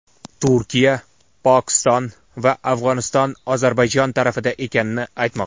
Turkiya, Pokiston va Afg‘oniston Ozarbayjon tarafida ekanini aytmoqda.